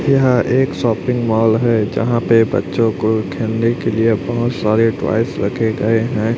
यह एक shopping mall है यहां पे बच्चों को खेलने के लिए बहुत सारे टॉयज रखे गए हैं।